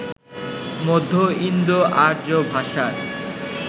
মধ্য ইন্দো আর্য ভাষার